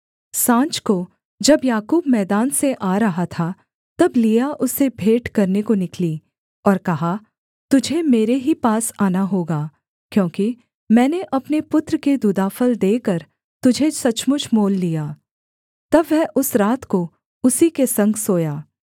साँझ को जब याकूब मैदान से आ रहा था तब लिआ उससे भेंट करने को निकली और कहा तुझे मेरे ही पास आना होगा क्योंकि मैंने अपने पुत्र के दूदाफल देकर तुझे सचमुच मोल लिया तब वह उस रात को उसी के संग सोया